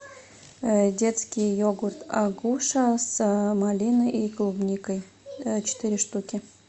детский йогурт агуша с малиной и клубникой четыре штуки